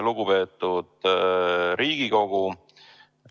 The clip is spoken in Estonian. Lugupeetud Riigikogu!